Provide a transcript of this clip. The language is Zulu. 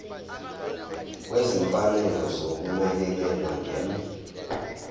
kwezimfanelo zokunakekela ngem